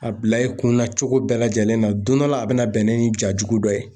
A bila i kun na cogo bɛɛ lajɛlen na, don dɔ la a bɛna bɛn ni jajugu dɔ ye.